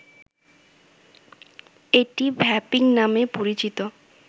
এটি ‘ভ্যাপিং’ নামে পরিচিত